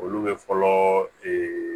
Olu bɛ fɔlɔ